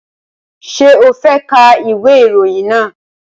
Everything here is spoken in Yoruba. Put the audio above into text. Ṣé o fẹ́ ka ìwé ìròyìn náà?